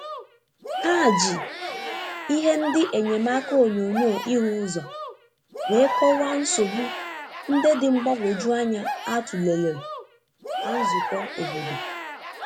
Ha ji ihe ndi enyemaka onyonyo ihu uzo wee kọwaa nsogbu nde dị mgbanwoju anya a tụlere na nzukọ obodo.